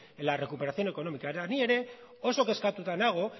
en la recuperación económica eta ni ere oso kezkatuta nago